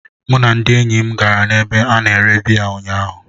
Mụ na ndị enyi m gara n'ebe a na-ere biya ụnyahụ.